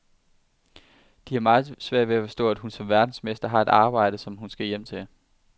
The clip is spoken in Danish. De har meget svært ved at forstå, at hun som verdensmester har et arbejde, hun skal hjem til.